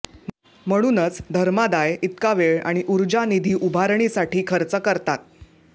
म्हणूनच धर्मादाय इतका वेळ आणि ऊर्जा निधी उभारणीसाठी खर्च करतात